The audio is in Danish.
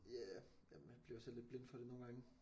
Ja ja man bliver jo selv lidt blind for det nogle gange